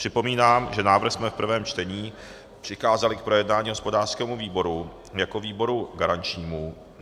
Připomínám, že návrh jsme v prvém čtení přikázali k projednání hospodářskému výboru jako výboru garančnímu.